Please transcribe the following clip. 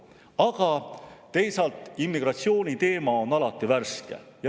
Aga teisalt, immigratsiooniteema on alati värske.